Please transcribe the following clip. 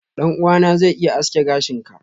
ɗan'uwana zai iya aske gashin ka.